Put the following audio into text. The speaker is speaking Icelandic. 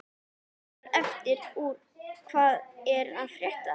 Eldra efni úr Hvað er að frétta?